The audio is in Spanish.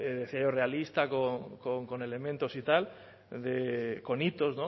realista con elementos y tal con hitos